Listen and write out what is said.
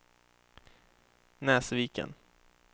Näsviken